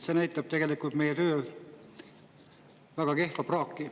See näitab tegelikult meie töö praaki.